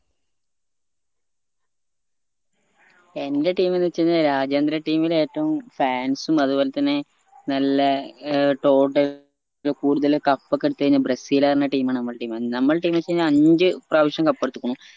എന്റെ team എന്നെച്ചഴിഞ്ഞ രാജ്യാന്തര team ലെ ഏറ്റവും fans ഉം അത് പോലെ തന്നെ നല്ല ഏർ കൂടുതല് cup ഒക്കെ എടുത്തഴിഞ്ഞാ ബ്രസീല് പറഞ്ഞ team ആന്ന് നമ്മളെ team നമ്മള team എന്നെച്ചഴിഞ്ഞ അഞ്ച് പ്രാവിശ്യം cup എടിതുക്കുണു